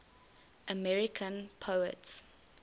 american poets